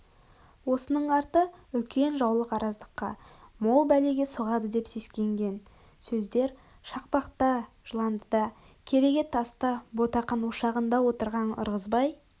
осының арты үлкен жаулық араздыққа мол бәлеге соғады деп сескенген сөэдер шақпақта жыландыда кереге таста ботақан ошағында отырғаң ырғызбай